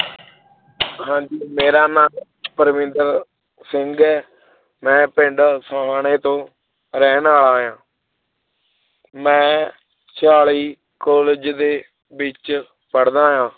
ਹਾਂਜੀ ਮੇਰਾ ਨਾਂ ਪਰਵਿੰਦਰ ਸਿੰਘ ਹੈ ਮੈਂ ਪਿੰਡ ਸੁਹਾਣੇ ਤੋਂ ਰਹਿਣ ਵਾਲਾ ਹਾਂ ਮੈਂ ਚਾਲੀ college ਦੇ ਵਿੱਚ ਪੜ੍ਹਦਾ ਹਾਂ l